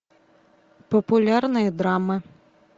популярные драмы